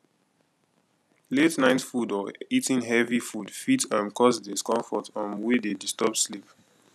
late night food or eating heavy food fit um cause discomfort um wey dey disturb sleep